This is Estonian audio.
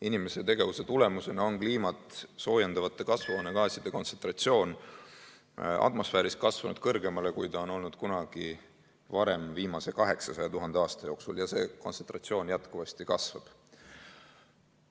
Inimese tegevuse tagajärjel on kliimat soojendavate kasvuhoonegaaside kontsentratsioon atmosfääris kasvanud suuremaks, kui see on olnud kunagi varem viimase 800 000 aasta jooksul, ja see kontsentratsioon jätkuvasti kasvab.